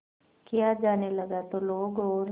किया जाने लगा तो लोग और